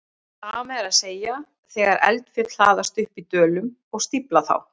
Sama er að segja þegar eldfjöll hlaðast upp í dölum og stífla þá.